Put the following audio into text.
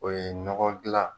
O ye nɔgɔ gilan